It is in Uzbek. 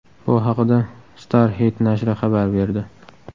Bu haqida Starhit nashri xabar berdi .